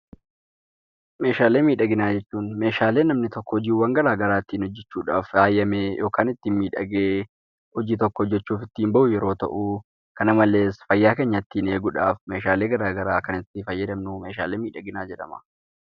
Meeshaalee miidhaginaa jechuun Meeshaalee namni tokko hojiiwwan garaa garaa ittiin hojjechuudhaaf faayamee yookaan ittiin miidhagee hojii tokko hojjechuuf ittiin ba'u yeroo ta'u, kana malees fayyaa keenya ittiin eeguudhaaf meeshaalee garaa garaa kan itti fayyadamnu meeshaalee miidhaginaa jedhama.